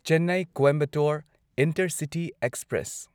Chennai Coimbatore intercity express